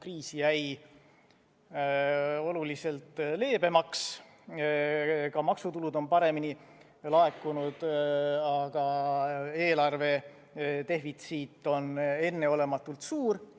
Kriis jäi siiski oluliselt leebemaks, ka maksutulud on paremini laekunud, aga eelarvedefitsiit on enneolematult suur.